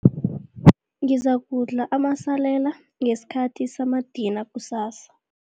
Ngizakudla amasalela ngesikhathi samadina kusasa.